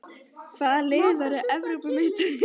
Hvaða lið verður Evrópumeistari?